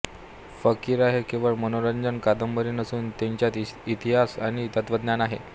फकिरा ही केवळ मनोरंजक कादंबरी नसून तिच्यात इतिहास आणि तत्त्वज्ञान आहे